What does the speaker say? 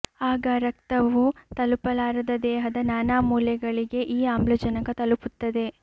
ಆಗ ರಕ್ತವೂ ತಲುಪಲಾರದ ದೇಹದ ನಾನಾ ಮೂಲೆಗಳಿಗೆ ಈ ಆಮ್ಲಜನಕ ತಲುಪುತ್ತದೆ